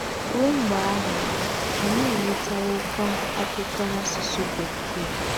Ruo mgbe ahụ, anyị enwetawokwa akwụkwọ n'asụsụ Bekee.